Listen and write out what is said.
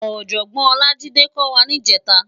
Òjòbòn Olajide kò wá nijètá